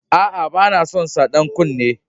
A a, bana son sa dan kunne.